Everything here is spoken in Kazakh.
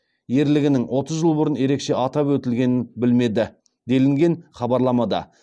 ерлігінің отыз жыл бұрын ерекше атап өтілгенін білмеді делінген хабарламада